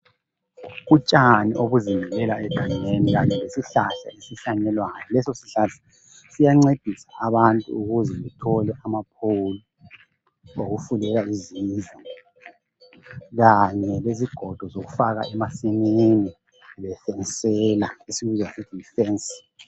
Utshani obuzimilela egangeni kanye lesihlahla esihlanyelwayo leso sihlahla siyancedisa abantu ukuze bathole intungo zokufulela izindlu kanye lezigodo zokufaka emasimini bebiyela esikubiza sithi yi fence.